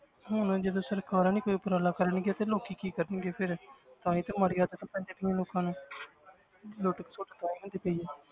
ਹੁਣ ਜਦੋਂ ਸਰਕਾਰਾਂ ਨੀ ਕੋਈ ਉਪਰਾਲਾ ਕਰਨਗੀਆਂ ਤੇ ਲੋਕੀ ਕੀ ਕਰਨਗੇ ਫਿਰ ਤਾਂ ਹੀ ਤੇ ਮਾੜੀ ਆਦਤਾਂ ਪੈਂਦੀਆਂ ਪਈਆਂ ਲੋਕਾਂ ਨੂੰ ਲੁੱਟ ਖਸੁੱਟ ਬਹੁਤ ਹੁੰਦੀ ਪਈ ਹੈ।